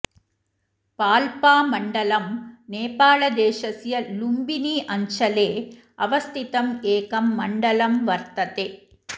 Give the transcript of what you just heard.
पाल्पामण्डलम् नेपालदेशस्य लुम्बिनी अञ्चले अवस्थितं एकं मण्डलं वर्तते